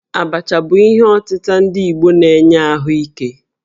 Abacha bụ ihe ọtịta ndi Igbo na-enye ahụ ike